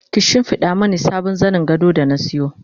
ki shimfiɗa Mani sabon zanin gado da na sayo